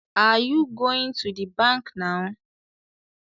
Are you goint to the bank now?